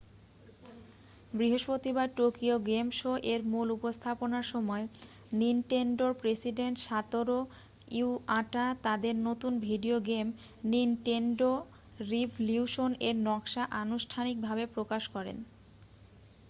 বৃহষ্পতিবার Tokyo game শো-এর মূল উপস্থাপনার সময় নিনটেনডোর প্রেসিডেন্ট সাতোরু ইওয়াটা তাঁদের নতুন ভিডিও গেম নিনটেনডো রিভলিউশন-এর নকশা আনুষ্ঠানিকভাবে প্রকাশ করেন